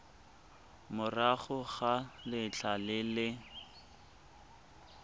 morago ga letlha le le